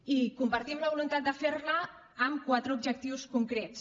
i compartim la voluntat de ferla amb quatre objectius concrets